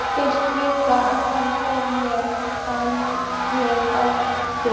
Get virt hana fyrir mér að aftan.